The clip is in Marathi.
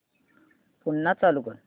पुन्हा चालू कर